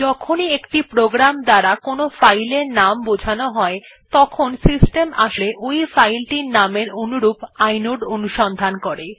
যখনই একটি প্রোগ্রামের দ্বারা একটি ফাইল এর নাম বোঝান হয় প্রকৃতপক্ষে সিস্টেম আসলে ওই ফাইলের নামটির অনুরূপ ইনোড অনুসন্ধান করে